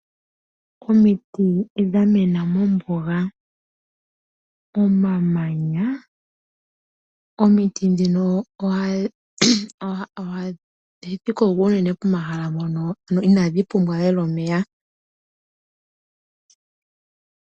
Omiti odha mena mombuga komamanya. Omiti ndhino ohadhi koko unene pomahla mpono inaadhi pumbwa omeya ogendji.